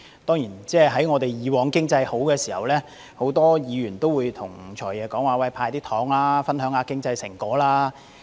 當然，以往經濟好的時候，很多議員都要求"財爺""派糖"，分享經濟成果。